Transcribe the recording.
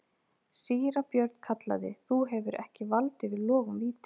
Síra Björn kallaði:-Þú hefur ekki vald yfir logum vítis.